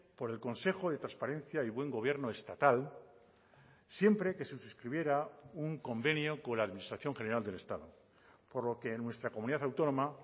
por el consejo de transparencia y buen gobierno estatal siempre que se suscribiera un convenio con la administración general del estado por lo que en nuestra comunidad autónoma